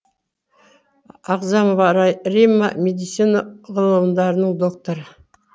ағзамова римма медицина ғылымдарының докторы